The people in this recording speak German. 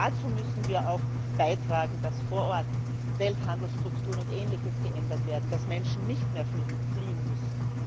Dazu müssen wir auch beitragen, dass vor Ort Welthandelsstrukturen und ähnliches geändert werden, dass Menschen nicht mehr fliehen müssen.